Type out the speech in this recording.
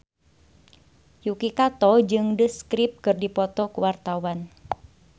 Yuki Kato jeung The Script keur dipoto ku wartawan